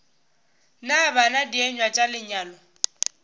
na bana dienywa tša lenyalo